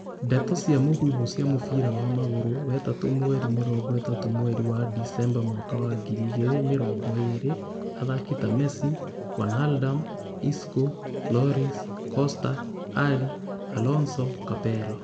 Ndeto cia mũhuhu cia mũbira wa magũrũ wetatũ mweri mĩrongo ĩtatũ mweri wa Decemba mwaka wa ngiri igĩrĩ mĩrongo irĩ, athaki ta Messi, Wijnaldum, Isco, Lloris, Costa Alli, Alonso, Capello